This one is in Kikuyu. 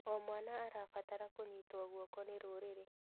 O mwana arabatara kũnyitwo guoko nĩ rũrĩrĩ.